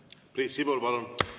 Priit Sibul, palun!